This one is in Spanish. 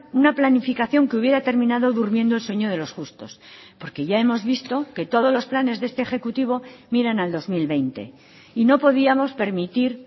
una planificación que hubiera terminado durmiendo el sueño de los justos porque ya hemos visto que todos los planes de este ejecutivo miran al dos mil veinte y no podíamos permitir